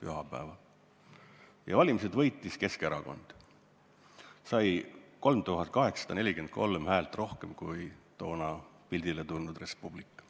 pühapäeval olid valimised, mille võitis Keskerakond, kes sai 3843 häält rohkem kui toona pildile tulnud Res Publica.